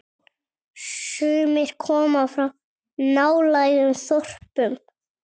Sumir koma frá nálægum þorpum.